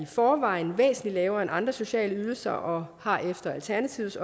forvejen væsentlig lavere end andre sociale ydelser og har efter alternativets